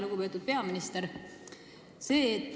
Lugupeetud peaminister!